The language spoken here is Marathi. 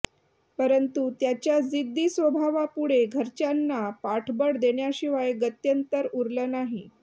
परंतु त्याच्या जिद्दी स्वभावापुढे घरच्यांना पाठबळ देण्याशिवाय गत्यंतर उरलं नाही